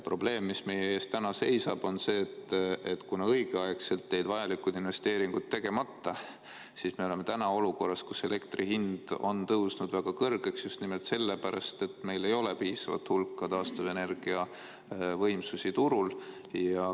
Probleem, mis meie ees täna seisab, on see, et kuna õigeaegselt jäid vajalikud investeeringud tegemata, siis me oleme olukorras, kus elektri hind on tõusnud väga kõrgeks just nimelt sellepärast, et meil ei ole piisavat hulka taastuvenergiavõimsusi turul.